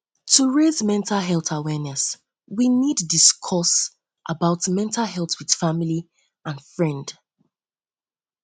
to raise mental health awareness we need to discuss about mental health with family and friend family and friend